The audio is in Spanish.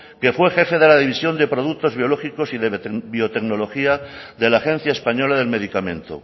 que fue jefe de la división de productos biológicos y de biotecnología de la agencia española del medicamento